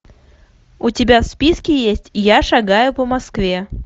у тебя в списке есть я шагаю по москве